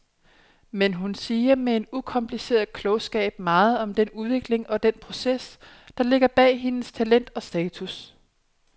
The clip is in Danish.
Men hun siger med en ukompliceret klogskab meget om den udvikling og den proces, der ligger bag hendes talent og status.